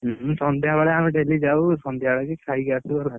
ସନ୍ଧ୍ୟା ବେଳେ ଆମେ daily ଯଉ ସନ୍ଧ୍ୟା ବେଳେ ଖାଇକି ଆସୁ ହେଲା।